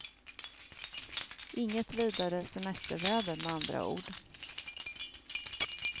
Inget vidare semesterväder med andra ord.